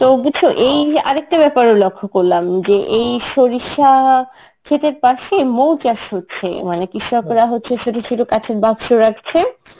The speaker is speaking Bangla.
তো বুঝছ, এই আরেকটা ব্যাপার ও লক্ষ্য করলাম যে এই সরিষা ক্ষেতের পাশে মৌ চাষ হচ্ছে মানে কৃষকরা হচ্ছে ছোটছোট কাঁচের বাক্স রাখছে,